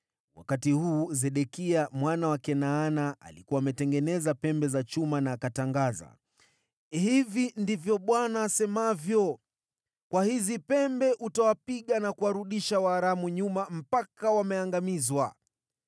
Wakati huu Sedekia mwana wa Kenaana alikuwa ametengeneza pembe za chuma, akatangaza, “Hivi ndivyo Bwana asemavyo, ‘Kwa hizi pembe utawapiga na kuwarudisha Waaramu nyuma mpaka wameangamizwa.’ ”